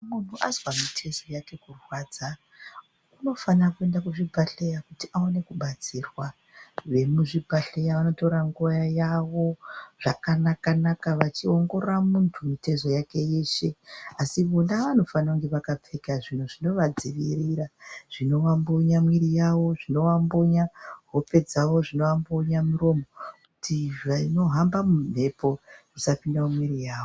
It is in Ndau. Muntu azwa mitezo yake kurwadza unofana kuenda kuzvibhedleya kuti aone kubatsirwa vemuzvi bhedhleya vanotora nguwa yavo zvakanaka naka vachiongorora muntu mitezo yake asi vona vanofanira kunge vakapfeka zvinhu zvinova dzivirira zvinova mbunya mwiri yavo zvinova mbunya hope dzavo zvinova mbunya miromo kuti zvinohamba mumhepo zvisava pinda mumwiri mavo